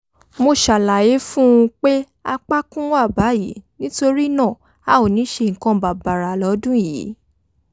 mo ṣàlàyé fún un pé apákún wa báyìí nítorí náà a ò ní ṣe nǹkan bàbàrà lọ́dún yìí